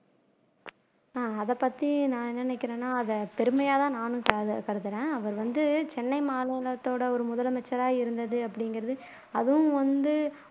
உம் அதைப்பத்தி நான் என்ன நினைக்கிறேன்னா அதை பெருமையாதான் நானும் கரு கருதுறேன் அவர் வந்து சென்னை மாநிலத்தோட ஒரு முதலமைச்சரா இருந்தது அப்படிங்கிறது அதுவும் வந்து